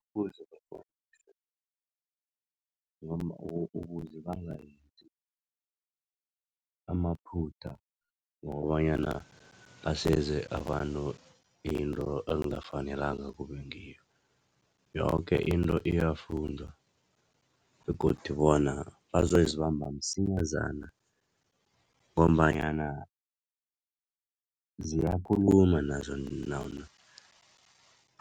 Ukuze bakghone ukuze bangenzi amaphutha ngokobanyana baseze abantu into angafanelanga kube ngiyo. Yoke into iyafundwa begodu bona bazozibamba msinyazana ngombanyana ziyakhuluma nazo